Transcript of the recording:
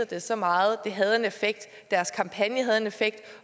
dem så meget havde en effekt deres kampagne havde en effekt